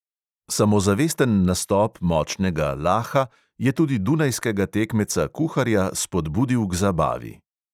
Samozavesten nastop močnega laha je tudi dunajskega tekmeca kuharja spodbudil k zabavi.